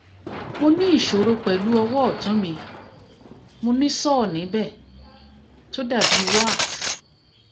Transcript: mo ní ìṣòro pẹ̀lú ọwọ́ ọ́tún mi mo ní sore níbẹ̀ tó dàbí wart